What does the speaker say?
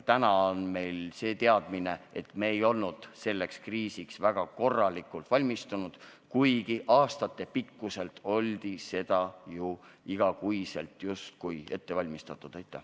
Täna on meil see teadmine, et me ei olnud selleks kriisiks väga korralikult valmis, kuigi olime selleks ju aastaid igakuiselt ettevalmistusi teinud.